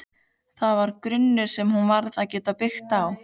Það var grunnur sem hún varð að geta byggt á.